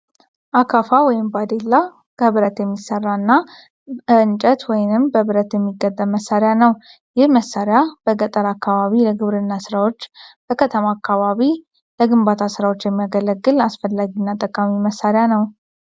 አካፋ (ባዴላ) ከብረት የሚሰራ እና በእንጨት ወይንም በብረት የሚገጠም መሳሪያ ነው። ይህ መሳሪያ በገጠር አካባቢ ለግብርና ስራዎች በከተማ አካባቢ ለግንባታ ስራዎች የሚያገለግል አስፈላጊ እና ጠቃሚ መሳሪያ ነው።